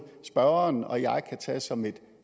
spørgeren og jeg tage som et